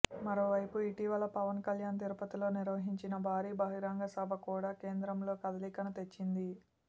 మరోవైపు ఇటీవల పవన్ కళ్యాణ్ తిరుపతిలో నిర్వహించిన భారీ బహిరంగ సభ కూడా కేంద్రంలో కదలికను తెచ్చింది